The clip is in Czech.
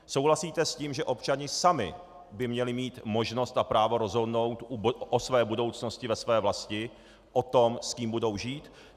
Souhlasíte s tím, že občané sami by měli mít možnost a právo rozhodnout o své budoucnosti ve své vlasti, o tom, s kým budou žít?